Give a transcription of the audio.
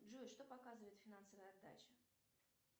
джой что показывает финансовая отдача